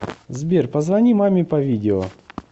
сбер позвони маме по видео